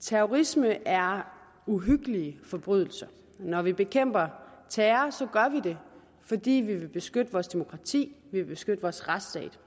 terrorisme er uhyggelige forbrydelser når vi bekæmper terror gør vi det fordi vi vil beskytte vores demokrati vi vil beskytte vores retsstat